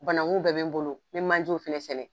Banakun bɛɛ bɛ n bolo mɛ manjew fɛnɛ sɛnɛ